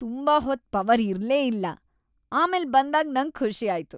ತುಂಬಾ ಹೊತ್ ಪವರ್ ಇರ್ಲೇ ಇಲ್ಲ ಆಮೇಲ್ ಬಂದಾಗ್ ನಂಗ್ ಖುಷಿ ಆಯ್ತು.